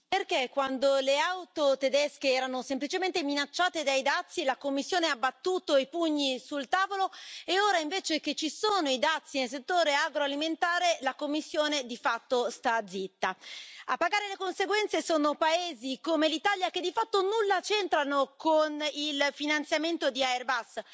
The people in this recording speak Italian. Signora Presidente, onorevoli colleghi, perché quando le auto tedesche erano semplicemente minacciate dai dazi la Commissione ha battuto i pugni sul tavolo e ora invece che ci sono i dazi nel settore agroalimentare la Commissione di fatto sta zitta? A pagare le conseguenze sono paesi come l'Italia, che di fatto nulla c'entrano con il finanziamento di Airbus.